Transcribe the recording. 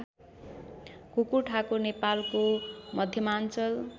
कुकुरठाकुर नेपालको मध्यमाञ्चल